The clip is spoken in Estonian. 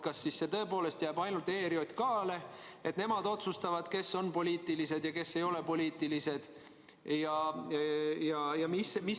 Kas see õigus tõepoolest jääb ainult ERJK-le, et nemad otsustavad, kes on poliitilised ja kes ei ole poliitilised?